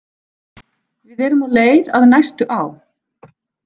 Við erum á leið að næstu á